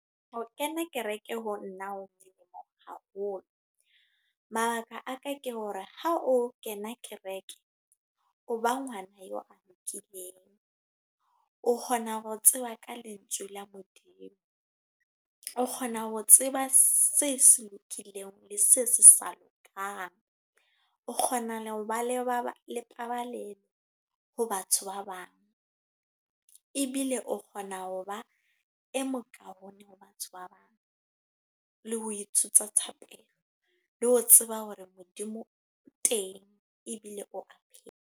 H kena kereke, ho nna ho haholo. Mabaka a ka ke hore ha o kena kereke, o ba ngwana eo a lokileng. O kgona ho tseba ka lentswe la Modimo. O kgona ho tseba se se lokileng le se sa lokang. O kgona ho ba le taba le batho ba bang. Ebile o kgona ho ba e mokaone ho batho ba bang. Le ho ithuta thapelo, le ho tseba hore Modimo o teng ebile o a phela.